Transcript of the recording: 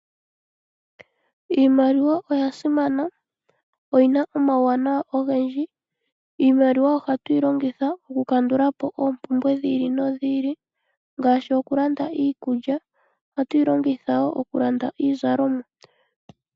Iimaliwa oya simana. Oyina omauwanawa ogendji. Iimaliwa ohatu yi longitha oku kandulapo oompumbwe dhi ili nodhi ili ngaashi oku landa iikulya. Ohatu yi longitha wo oku landa iizalomwa.